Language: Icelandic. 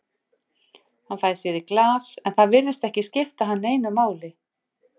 Hann fær sér í glas, en það virðist ekki skipta hann neinu máli.